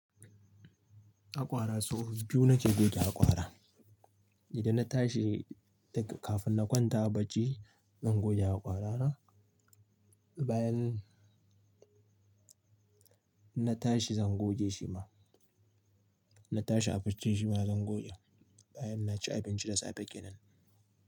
Haƙora sau biyu na ke goge haƙora. Idan na tashi kafin na kwanta a bacci, zan goge haƙora na. Bayan na tashi zan goge shi ma. Na tashi a bacci shima zan goge bayan na ci abinci da safe kenan.